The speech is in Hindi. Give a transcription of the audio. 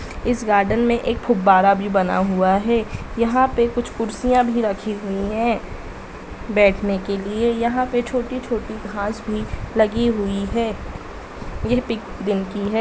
इस गार्डन में एक फुवारा भी बना हुआ है यहाँ पे कुछ कुर्सियाँ भी रखी हुई हैं बैठने के लिए यहाँ पे छोटी छोटी घाँस भी लगी हुई है यह पिक दिन की है।